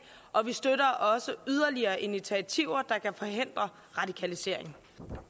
og vi støtter også yderligere initiativer der kan forhindre radikalisering